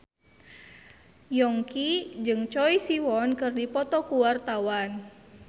Yongki jeung Choi Siwon keur dipoto ku wartawan